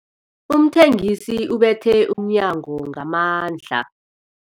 Umthengisi ubethe umnyango ngamandla.